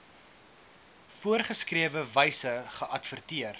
voorgeskrewe wyse geadverteer